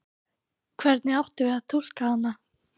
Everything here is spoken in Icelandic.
Hvernig áttum við að túlka hana?